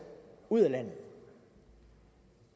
ud af landet